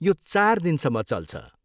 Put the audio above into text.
यो चार दिनसम्म चल्छ।